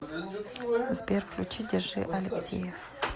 сбер включи держи алексеев